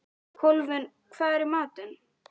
Kolfinna, hvað er í matinn?